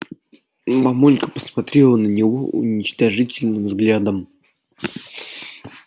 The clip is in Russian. мамулька посмотрела на него уничижительным взглядом